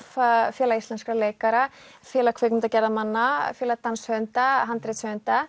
félag íslenskra leikara félag kvikmyndagerðarmanna félag danshöfunda